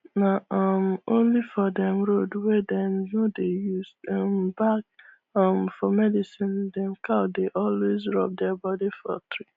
na um only for dem road wey dem no dey use um bark um for medicine dem cow dey always rub dia body for tree